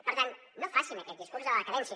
per tant no facin aquest discurs de la decadència